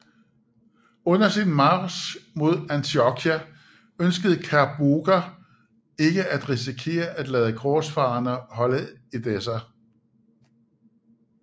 Under sin march mod Antiochia ønskede Kerbogha ikke at risikere at lade korsfarerne holde Edessa